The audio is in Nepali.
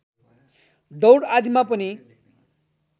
दौड आदिमा पनि